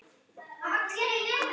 spurði hann æstur.